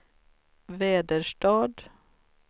Väderstad